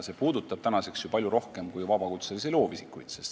See puudutab ju palju rohkemaid inimesi kui vabakutselisi loovisikuid.